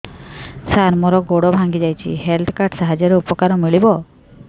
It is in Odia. ସାର ମୋର ଗୋଡ଼ ଭାଙ୍ଗି ଯାଇଛି ହେଲ୍ଥ କାର୍ଡ ସାହାଯ୍ୟରେ ଉପକାର ମିଳିବ